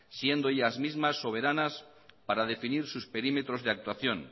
siendo ellas mismas soberanos para definir su perímetros de actuación